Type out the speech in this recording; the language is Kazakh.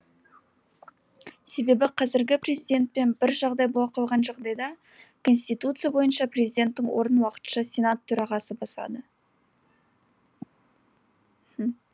себебі қазіргі президентпен бір жағдай бола қалған жағдайда конституция бойынша президенттің орнын уақытша сенат төрағасы басады